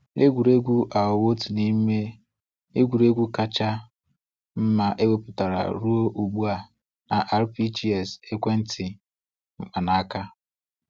Egwuregwuu aghọwo otu n’ime egwuregwu kacha mma ewepụtara ruo ugbu a na RPGs ekwentị mkpanaaka.